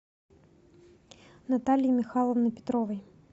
натальи михайловны петровой